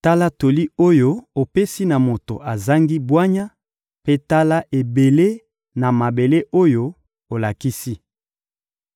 Tala toli oyo opesi na moto azangi bwanya, mpe tala ebele na mayele oyo olakisi!